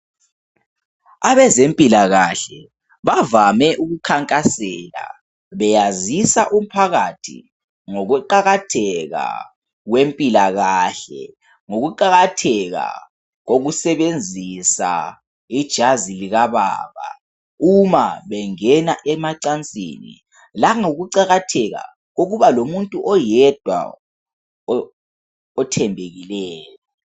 Abezempilakahle bavame kukhakhansela beyazisa umphakathi ngokuqakatheka kwempilakahle ngokuqakatheka kokusebenzisa ijazi likababa uma bengena emacansini langokuqatheka kokuba lomuntu oyedwa othembekileyo